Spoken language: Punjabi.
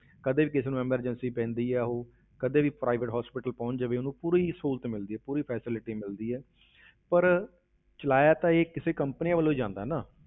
ਕਦੇ ਵੀ ਕਿਸੇ ਨੂੰ emergency ਪੈਂਦੀ ਹੈ, ਉਹ ਕਦੇ ਵੀ ਉਹ private hospital ਪਹੁੰਚ ਜਾਵੇ ਉਹਨੂੰ ਪੂਰੀ ਸਹੂਲਤ ਮਿਲਦੀ ਹੈ, ਪੂਰੀ facility ਮਿਲਦੀ ਹੈ ਪਰ ਚਲਾਇਆ ਤਾਂ ਇਹ ਕਿਸੇ companies ਵੱਲੋਂ ਹੀ ਜਾਂਦਾ ਹੈ ਨਾ,